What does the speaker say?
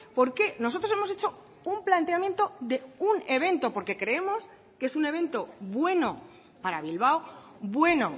porque nosotros hemos hecho un planteamiento de un evento porque creemos que es un evento bueno para bilbao bueno